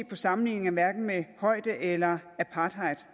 har sammenligningerne hverken med højde eller apartheid